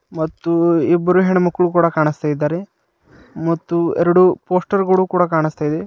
ಮತ್ತು ಇಬ್ಬರು ಹೆಣ್ಣು ಮಕ್ಕಳು ಕೊಡ ಕಾಣಿಸುತ್ತಿದ್ದಾರೆ ಮತ್ತು ಎರಡು ಪೋಸ್ಟರ್ಗಳು ಕೂಡ ಕಾಣುತ್ತದೆ.